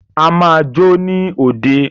A máa jó ní òde.